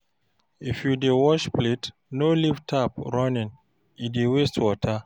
If you dey wash plate, no leave tap running, e dey waste water.